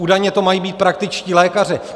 Údajně to mají být praktičtí lékaři.